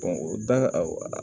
o da